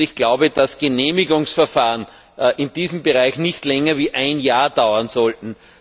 Ich glaube, dass Genehmigungsverfahren in diesem Bereich nicht länger als ein Jahr dauern sollten.